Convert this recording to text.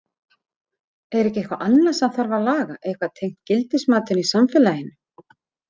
Er ekki eitthvað annað sem þarf að laga, eitthvað tengt gildismatinu í samfélaginu?